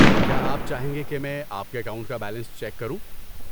کیا آپ چاہیں گے کہ میں آپ کے اکاؤنٹ کا بیلنس چیک کروں؟